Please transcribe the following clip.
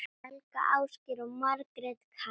Helga, Ásgeir og Margrét Katrín.